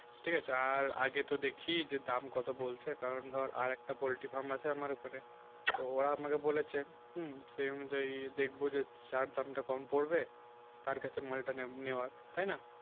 ঠিক আছে আর আগে তো দেখে দাম কত বলছে কারণ ধর আর একটা পোল্ট্রি farm আছে আমার ওখানে তো ও আমাকে বলেছে হুম সে অনুযায়ী দেখব যদি যার দামটা কম পড়বে তার কাছে মালটা নেওয়া হবে তাই না